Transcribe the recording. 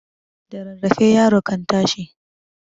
da rarrafe yaro kan tashi